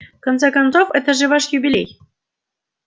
в конце концов это же ваш юбилей